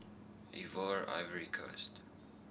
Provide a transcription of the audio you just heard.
ivoire ivory coast